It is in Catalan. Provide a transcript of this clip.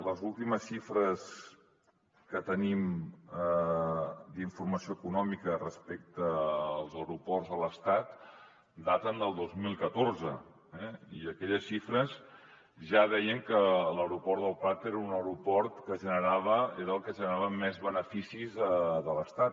les últimes xifres que tenim d’informació econòmica respecte als aeroports de l’estat daten del dos mil catorze eh i aquelles xifres ja deien que l’aeroport del prat era el que generava més beneficis de l’estat